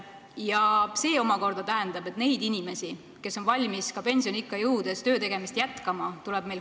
Ja see omakorda tähendab, et neid inimesi, kes on valmis ka pensioniikka jõudnuna töötegemist jätkama, tuleb hoida.